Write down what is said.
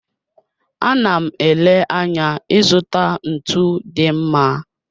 A na m ele anya ịzụta ntu dị mma.